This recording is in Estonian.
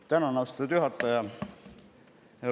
Tänan, austatud juhataja!